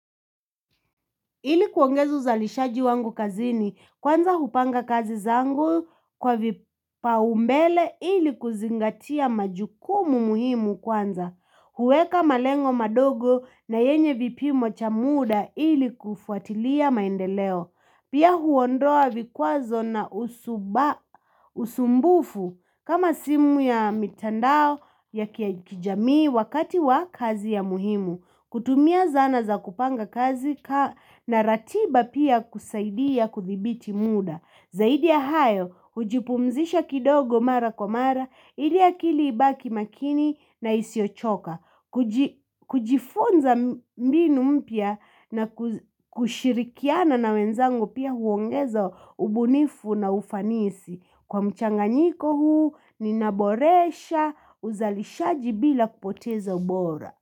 Ili kuongeza uzalishaji wangu kazini, kwanza mimi hupanga kazi zangu kwa vipaumbele ili kuzingatia majukumu muhimu kwanza. Huweka malengo madogo na yenye vipimo vya muda ili kufuatilia maendeleo. Pia huondoa vikwazo na visumbufu kama simu ya mitandao ya kijamii wakati wa kazi muhimu. Kutumia zana za kupanga kazi na ratiba pia husaidia kudhibiti muda. Zaidi ya hayo, hujipumzisha kidogo mara kwa mara ili akili ibaki makini na isiyochoka kujifunza mbinu mpya na kushirikiana na wenzangu pia huongeza ubunifu na ufanisi. Kwa mchanganyiko huu, ninaboresha uzalishaji bila kupoteza ubora.